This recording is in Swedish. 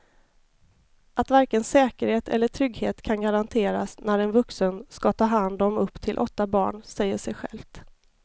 Att varken säkerhet eller trygghet kan garanteras när en vuxen ska ta hand om upp till åtta barn säger sig självt.